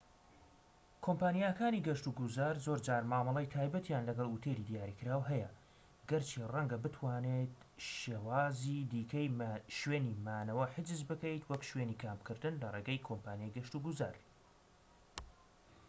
کۆمپانیاکانی گەشت و گوزار زۆرجار مامەڵەی تایبەتیان لەگەڵ ئوتێلی دیاریکراو هەیە گەرچی ڕەنگە بتوانیت شێوازی دیکەی شوێنی مانەوە حجز بکەیت وەک شوێنی کامپکردن لە ڕێگەی کۆمپانیای گەشت و گوزار